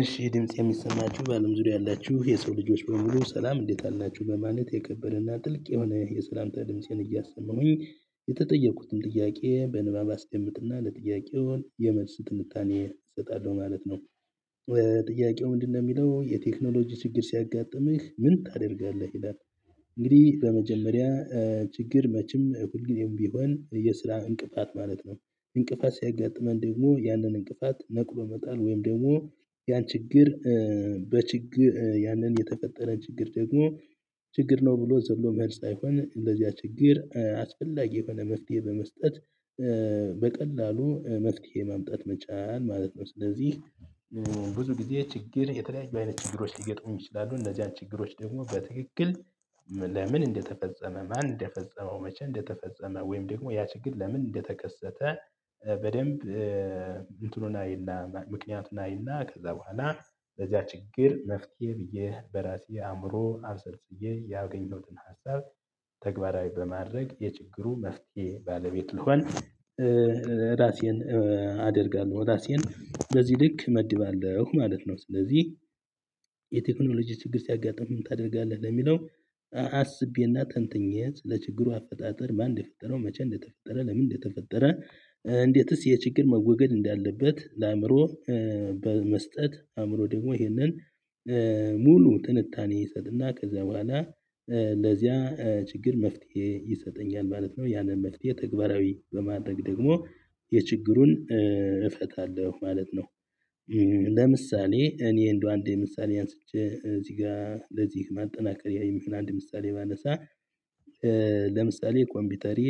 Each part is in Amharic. እሺ ድምጽ የሚሰማችሁ በአለም ዙሪያ ያላችሁ የሰው ልጆች በሙሉ ሰላም እንዴት አላችሁ በማለት የከበረና ጥልቅ የሆነ የሰላምታ ድምፄን እያሰማሁኝ የተጠየኩትን ጥያቄ በንባብ አስደምጥና ለጥያቄው የመልስ ጥንታኔ እሰጣለሁ ማለት ነው። ጥያቄው ምንድነው የሚለው የቴክኖሎጂ ችግር ሲያጋጥምህ ምን ታደርጋለህ? ይላል እንግዲህ በመጀመሪያ ችግር መቼም ሁል ጊዜም ቢሆን የስራ እንቅፋት ማለት ነው እንቅፋት ሲያጋጥመን ደግሞ ያንን እንቅፋት ነቅሎ መጣል ወይም ደግሞ ያን ችግር በችግር ያንን የተፈጠረን ችግር ደግሞ ችግር ነው ብሎ ዘሎ መሄድ ሳይሆን ለዚያ ችግር አስፈላጊ የሆነ መፍትሄ በመስጠት በቀላሉ መፍትሄ ማምጣት መቻል ማለት ነው። ስለዚህ ብዙ ጊዜ ችግር የተለያዩ አይነት ችግሮች ሊገጥሙን ይችላሉ እነዚያን ችግሮች ደግሞ በትክክል ለምን እንደተፈጸመ ማን እንደፈጸመው መቼ እንደተፈጸመ ወይም ደግሞ ያ ችግር ለምን እንደተከሰተ በደንብ እንትኑን አይና ምክንያቱን አይና ከዛ በኋላ ለዚያ ችግር መፍትሄ ብዬ በራሴ አእምሮ አብሰልስዬ ያገኘሁትን ሀሳብ ተግባራዊ በማድረግ የችግሩ መፍትሄ ባለቤት ልሆን ራሴን አደርጋለሁ ራሴን በዚህ ልክ እመድባለሁ ማለት ነው ስለዚህ የቴክኖሎጂ ችግር ሲያጋጥምህ ምን ታደርጋለህ? ለሚለው አስቤና ተንትኜ ለችግሩ አፈጣጠር ማን እንደፈጠረው መቼ እንደተፈጠረ ለምን እንደተፈጠረ እንዴትስ የችግር መወገድ እንዳለበት ለአእምሮ በመስጠት አእምሮ ደግሞ ይሄንን ሙሉ ትንታኔ ይሰጥና ከዚያ በኋላ ለዚያ ችግር መፍትሄ ይሰጠኛል ማለት ነው ያንን መፍትሄ ተግባራዊ በማድረግ ደግሞ የችግሩን እፈታለሁ ማለት ነው። ለምሳሌ እኔ እንደው አንዴ ምሳሌ አንስቼ እዚህ ጋር ለዚህ ማጠናከሪያ የሚሆን አንድ ምሳሌ ባነሳ ለምሳሌ ኮምፒውተሬ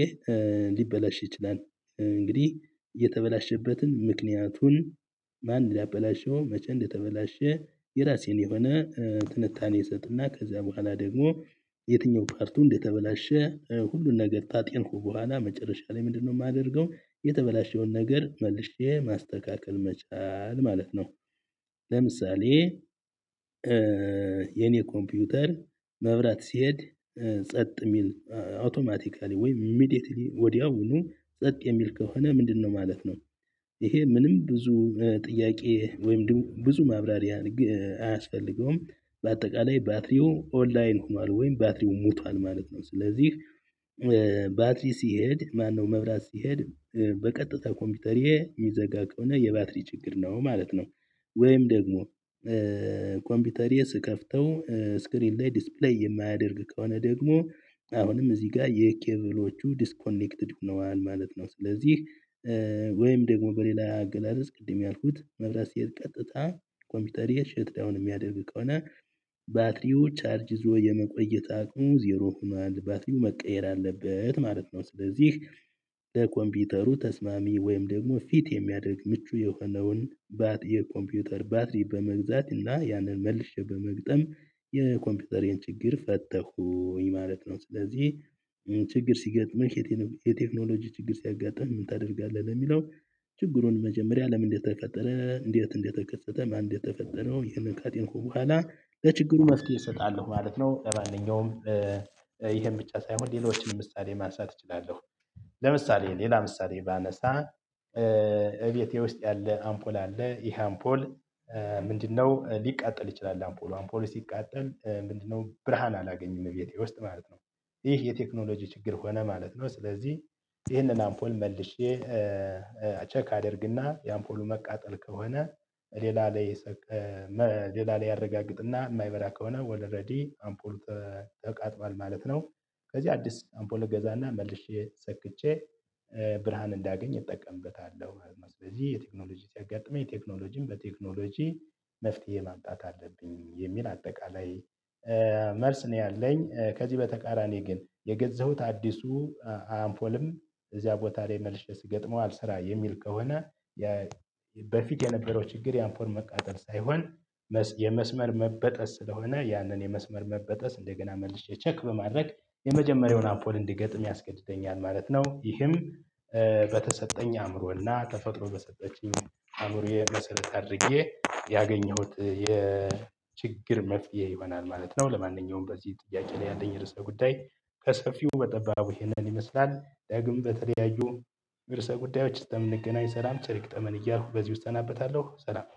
ሊበላሽ ይችላል እንግዲህ የተበላሸበትን ምክንያቱን ማን ሊያበላሸው መቼ እንደተበላሸ የራሴን የሆነ ትንታኔ ይሰጥና ከዚያ በኋላ ደግሞ የትኛው ፓርቱ እንደተበላሸ ሁሉን ነገር ካጤንኩ በኋላ መጨረሻ ላይ ምንድነው የማደርገው የተበላሸውን ነገር መልሼ ማስተካከል መቻል ማለት ነው። ለምሳሌ የኔ ኮምፒውተር መብራት ሲሄድ ጸጥ የሚል አውቶማቲካሊ ወይም ኢሚዲየትሊ ወዲያውኑ ጸጥ የሚል ከሆነ ምንድነው ማለት ነው ይሄ ምንም ብዙ ጥያቄ ወይም ደግሞ ብዙ ማብራሪያ አያስፈልገውም በአጠቃላይ ባትሪው ኦንላይን ሆኗል ወይም ባትሪው ሞቷል ማለት ነው። ስለዚህ ባትሪ ሲሄድ ማነው መብራት ሲሄድ በቀጥታ ኮምፒውተሬ የሚዘጋ ከሆነ የባትሪ ችግር ነው ማለት ነው ወይም ደግሞ ኮምፒውተርዬ ስከፍተው ስክሪን ላይ ዲስፕሌይ የማያደርግ ከሆነ ደግሞ አሁንም እዚህ ጋር የኬብሎቹ ዲስኮኔክትድ ሆነዋል ማለት ነው ስለዚህ ወይም ደግሞ በሌላ አገላለጽ ቅድም ያልኩት መብራት ሲሄድ ቀጥታ ኮምፒውተሬ ሸት ዳወን የሚያደርግ ከሆነ ባትሪው ቻርጅ ይዞ የመቆየት አቅሙ ዜሮ ሆኗል ባትሪው መቀየር አለበት ማለት ነው። ስለዚህ ለኮምፒውተሩ ተስማሚ ወይም ደግሞ ፊት የሚያደርግ ምቹ የሆነውን የኮምፒውተር ባትሪ በመግዛት እና ያንን መልሼ በመግጠም የኮምፒውተሬን ችግር ፈታኹኝ ማለት ነው። ስለዚህ ችግር ሲገጥምህ የቴክኖሎጂ ችግር ሲያጋጥምህ ምን ታደርጋለህ? ለሚለው ችግሩን መጀመሪያ ለምን እንደተፈጠረ እንዴት እንደተከሰተ ማን እንደተፈጠረው ይህንን ካጤንኩ በኋላ ለችግሩ መፍትሄ እሰጣለሁ ማለት ነው ለማንኛውም ይሄን ብቻ ሳይሆን ሌሎችንም ምሳሌ ማንሳት እችላለሁ። ለምሳሌ ሌላ ምሳሌ ባነሳ እቤቴ ውስጥ ያለ አምፖል አለ ይሄ አምፖል ምንድነው ሊቃጠል ይችላል አምፖሉ አምፖሉ ሲቃጠል ምንድነው ብርሃን አላገኝም እቤቴ ውስጥ ማለት ነው ይህ የቴክኖሎጂ ችግር ሆነ ማለት ነው ስለዚህ ይህንን አምፖል መልሼ ቼክ አደርግና የአምፖሉ መቃጠል ከሆነ ሌላ ላይ አረጋግጥና የማይበራ ከሆነ ወደ ረዲ አምፖል ተቃጥሏል ማለት ነው። ስለዚህ አዲስ አምፖል እገዛና መልሼ ሰክቼ ብርሃን እንዳገኝ እጠቀምበታለሁ ማለት ነው። ስለዚህ የቴክኖሎጂ ሲያጋጥመኝ ቴክኖሎጂን በቴክኖሎጂ መፍትሄ ማምጣት አለብኝ የሚል አጠቃላይ መልስ ነው ያለኝ ከዚህ በተቃራኒ ግን የገዛሁት አዲሱ አምፖልም እዚያ ቦታ ላይ መልሼ ስገጥመው አልሰራ የሚል ከሆነ በፊት የነበረው ችግር የአምፖል መቃጠል ሳይሆን የመስመር መበጠስ ስለሆነ እና ያንን የመስመር መበጠስ እንደገና መልሼ ቼክ በማድረግ የመጀመሪያውን አምፖል እንድገጥም ያስገድደኛል ማለት ነው። ይህም በተሰጠኝ አእምሮና ተፈጥሮ በሰጠችኝ አእምሮዬ መሰረት አድርጌ ያገኘሁት የችግር መፍትሄ ይሆናል ማለት ነው ለማንኛውም በዚህ ጥያቄ ላይ ያለኝ ርዕሰ ጉዳይ ከሰፊው በጠባቡ ይሄንን ይመስላል ዳግሞ በተለያዩ እርሰ ጉዳዮች ስለምንገናኝ ሰላም ቸር ይግጠመን እያልኩ በዚህ እሰናበታለሁ ሰላም